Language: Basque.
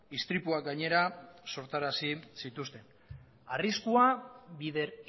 istripuak gainera sortarazi zituzten arriskua bider